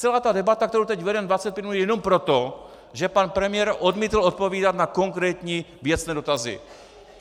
Celá ta debata, kterou teď vedeme 25 minut, je jenom proto, že pan premiér odmítl odpovídat na konkrétní věcné dotazy.